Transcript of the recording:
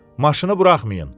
Maşını buraxmayın.